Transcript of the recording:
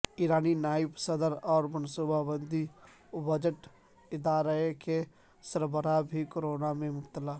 ایرانی نائب صدر اور منصوبہ بندی و بجٹ ادارے کے سربراہ بھی کورونا میں مبتلا